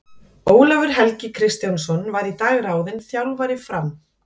Ólafur Helgi Kristjánsson var í dag ráðinn þjálfari Fram.